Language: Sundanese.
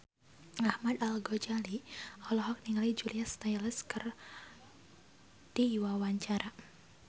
Ahmad Al-Ghazali olohok ningali Julia Stiles keur diwawancara